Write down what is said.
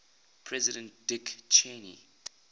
president dick cheney